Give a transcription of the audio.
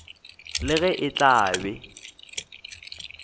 le ge e tla be